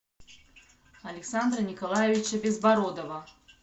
александра николаевича безбородова